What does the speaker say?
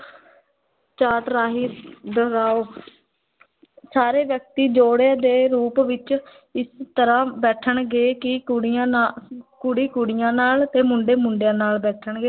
chart ਰਾਹੀਂ ਦੁਹਰਾਓ ਸਾਰੇ ਵਿਅਕਤੀ ਜੋੜੇ ਦੇ ਰੂਪ ਵਿੱਚ ਇਸ ਤਰ੍ਹਾਂ ਬੈਠਣਗੇ ਕਿ ਕੁੜੀਆ ਨਾ ਕੁੜੀ ਕੁੜੀਆਂ ਨਾਲ ਤੇ ਮੁੰਡੇ ਮੁੰਡਿਆਂ ਨਾਲ ਬੈਠਣਗੇ,